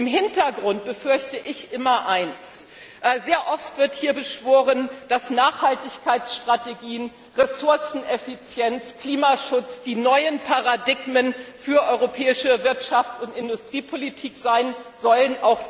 Im Hintergrund befürchte ich immer eins Sehr oft wird hier beschworen, dass Nachhaltigkeitsstrategien, Ressourceneffizienz und Klimaschutz die neuen Paradigmen für die europäische Wirtschafts und Industriepolitik sein sollen.